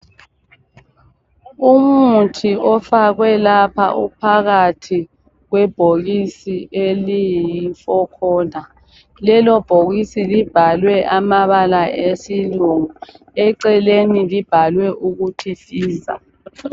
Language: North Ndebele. Umuthi ofakwe lapha uphakathi kwebhokisi eliyifokhona, lelobhokisi libhalwe amabala esilungu. Eceleni libhalwe ukuthi Pfizer.